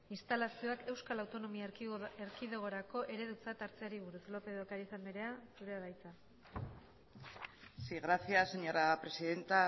instalazioak euskal autonomia erkidegorako eredutzat hartzeari buruz lópez de ocáriz andrea zurea da hitza sí gracias señora presidenta